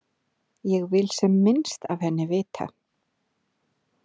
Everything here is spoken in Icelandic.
Ég vil sem minnst af henni vita.